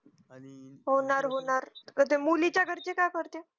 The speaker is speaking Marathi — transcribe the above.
होणार होणार त्याचे मुली चे घरचे काय करते